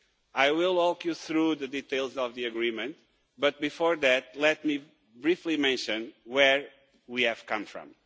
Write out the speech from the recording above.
I will walk you through the details of the agreement, but before that, let me briefly mention where we have come from.